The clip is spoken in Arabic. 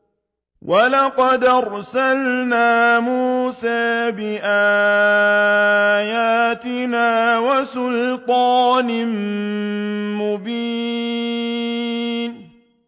وَلَقَدْ أَرْسَلْنَا مُوسَىٰ بِآيَاتِنَا وَسُلْطَانٍ مُّبِينٍ